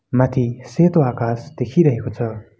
माथि सेतो आकाश देखिरहेको छ।